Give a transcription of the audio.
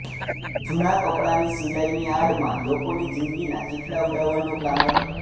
જૂનાં કપડાંની સીલાઈની આડમાં લોકોની જિંદગીના ચીંથરાં ઉડાવવાનો પ્લાન હતો